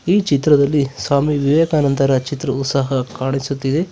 ಈ ಚಿತ್ರದಲ್ಲಿ ಸ್ವಾಮಿ ವಿವೇಕಾನಂದರ ಚಿತ್ರವು ಸಹ ಕಾಣಿಸುತ್ತಿದೆ.